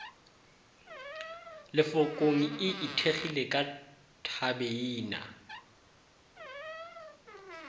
lefokong e ithekgilego ka thabeina